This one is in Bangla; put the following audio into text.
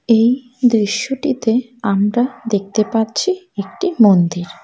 এই দৃশ্যটিতে আমরা দেখতে পাচ্ছি একটি মন্দির।